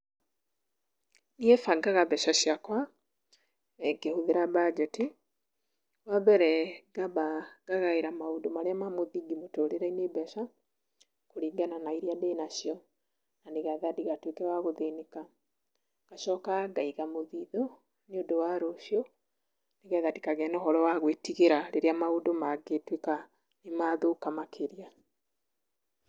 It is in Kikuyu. Niĩ bangaga mbeca ciakwa, ngĩhũthĩra mbanjeti. Wa mbere ngaamba, ngagaĩra maũndu marĩa ma mũthingi mũtũrĩre-inĩ mbeca, kũringana na iria ndĩna cio, na nĩgetha ndigatuĩke wa gũthĩnĩka. Ngacoka ngaiga mũthithũ nĩũndũ wa rũcĩũ, nĩgetha ndikagĩe na ũhoro wa gũĩtigĩra rĩrĩa maũndũ mangĩtũĩka nĩ mathũka makĩria.